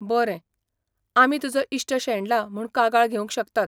बरें, आमी तुजो इश्ट शेणला म्हूण कागाळ घेवंक शकतात.